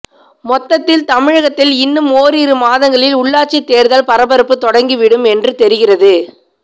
மொத்தத்தில் தமிழகத்தில் இன்னும் ஓரிரு மாதங்களில் உள்ளாட்சி தேர்தல் பரபரப்பு தொடங்கிவிடும் என்று தெரிகிறது